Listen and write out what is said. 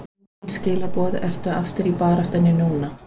Engin skilaboð Ertu aftur í baráttunni núna?